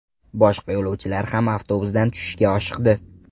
Boshqa yo‘lovchilar ham avtobusdan tushishga oshiqdi.